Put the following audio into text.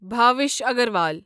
Bhavish Agarwal